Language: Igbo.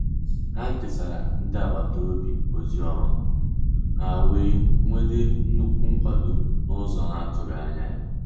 Ha kesara ndị agbata obi ozi ọma, ha wee nwete nnukwu nkwado n’ụzọ ha na-atụghị anya ya.